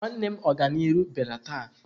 Nwanne m Oganiru biara taa.